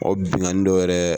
O binnkanni dɔ yɛrɛ